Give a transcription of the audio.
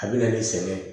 A bɛ na ni sɛgɛn ye